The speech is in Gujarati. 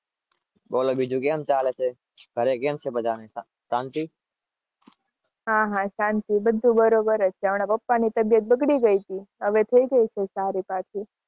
બોલો બીજું કેમ ચાલે છે?